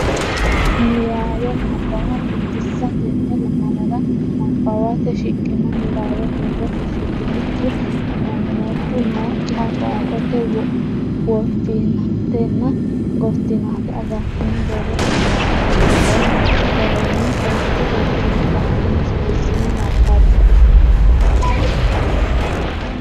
Niwaawe Nabbawa Biddissa Tenne lamalara nabbawate shiqqino niwaawe huuro fushshitinikki, mommoddo nookkiha qoonqote woffinatenna gottinate agartine borrote malaatta worroonni garinni hojji hojjinni rakkine suwissine nabbabbe.